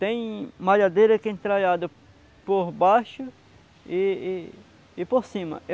Tem malhadeira que é entralhada por baixo e e e por cima.